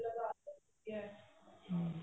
ਹਮ